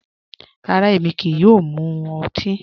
Rárá, émi kíí yòò mú òtì.